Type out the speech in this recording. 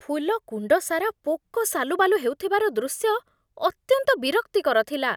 ଫୁଲ କୁଣ୍ଡ ସାରା ପୋକ ସାଲୁବାଲୁ ହେଉଥିବାର ଦୃଶ୍ୟ ଅତ୍ୟନ୍ତ ବିରକ୍ତିକର ଥିଲା।